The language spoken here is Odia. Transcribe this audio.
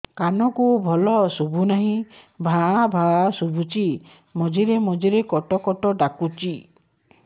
କାନକୁ ଭଲ ଶୁଭୁ ନାହିଁ ଭାଆ ଭାଆ ଶୁଭୁଚି ମଝିରେ ମଝିରେ କଟ କଟ ଡାକୁଚି